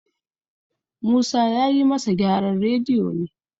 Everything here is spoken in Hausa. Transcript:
Musa ya yi masa gyaran radiyo ne